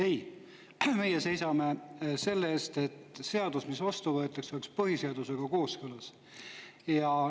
Ei, meie seisame selle eest, et seadus, mis vastu võetakse, oleks põhiseadusega kooskõlas.